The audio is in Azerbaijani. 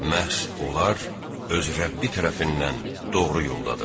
Məhz onlar öz Rəbbi tərəfindən doğru yoldadırlar.